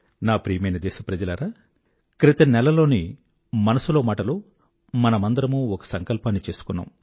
నా ప్రియమైన దేశ ప్రజలారా క్రితం నెలలోని మనసులో మాటలో మనందరమూ ఒక సంకల్పాన్ని చేసుకున్నాం